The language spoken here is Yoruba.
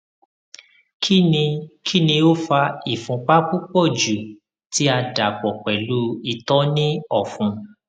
kini kini o fa ìfúnpá pupọ ju ti a dapọ pẹlu itọ ni ọfun